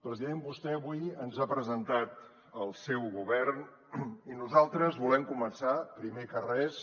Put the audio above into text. president vostè avui ens ha presentat el seu govern i nosaltres volem començar primer que res